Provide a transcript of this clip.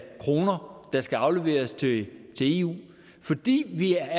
kroner der skal afleveres til eu fordi vi er